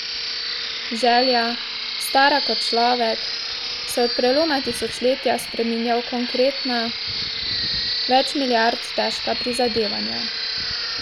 Želja, stara kot človek, se od preloma tisočletja spreminja v konkretna, več milijard težka prizadevanja.